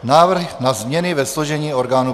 Návrh na změny ve složení orgánů